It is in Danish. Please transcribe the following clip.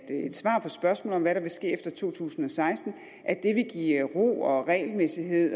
et svar på spørgsmålet om hvad der vil ske efter to tusind og seksten vil give ro og regelmæssighed